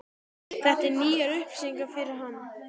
Þetta eru nýjar upplýsingar fyrir hana.